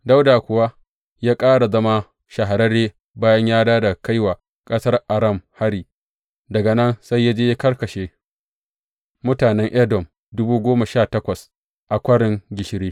Dawuda kuwa ya ƙara zama shahararre bayan ya dawo daga kai wa ƙasar Aram hari, daga nan sai ya je ya karkashe mutanen Edom dubu goma sha takwas a Kwarin Gishiri.